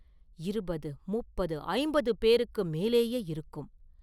இருபது, முப்பது, ஐம்பது பேருக்கு மேலேயே இருக்கும்.